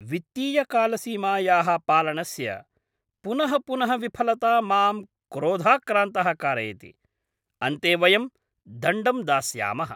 वित्तीयकालसीमायाः पालनस्य पुनः पुनः विफलता मां क्रोधाक्रान्तः कारयति, अन्ते वयं दण्डं दास्यामः।